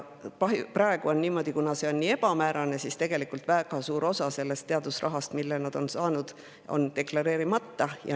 Praegu on niimoodi, et kuna see on nii ebamäärane, siis tegelikult väga suur osa teadusrahast, mille nad on saanud, on deklareerimata.